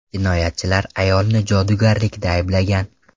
Jinoyatchilar ayolni jodugarlikda ayblagan.